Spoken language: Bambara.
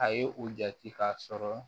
A ye u jate k'a sɔrɔ